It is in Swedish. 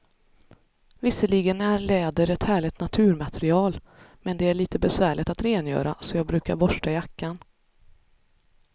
Visserligen är läder ett härligt naturmaterial, men det är lite besvärligt att rengöra, så jag brukar borsta jackan.